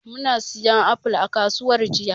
Muna siyan apple a kasuwar jiya.